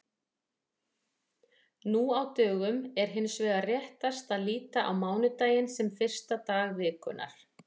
Nú á dögum er hins vegar réttast að líta á mánudaginn sem fyrsta dag vikunnar.